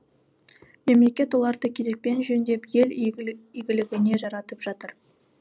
мемлекет оларды кезекпен жөндеп ел игілігіне жаратып жатыр